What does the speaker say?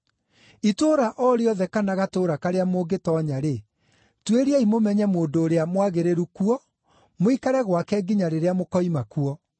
“Itũũra o rĩothe kana gatũũra karĩa mũngĩtoonya-rĩ, tuĩriai mũmenye mũndũ ũrĩa mwagĩrĩru kuo, mũikare gwake nginya rĩrĩa mũkoima kuo.